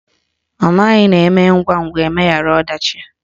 Ọ maghị na eme ngwangwa, emeghara ọdachi